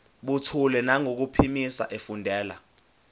buthule nangokuphimisa efundela